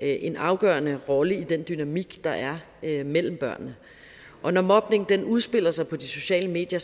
en afgørende rolle i den dynamik der er mellem børnene og når mobning udspiller sig på de sociale medier